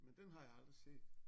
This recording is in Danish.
Men den har jeg aldrig set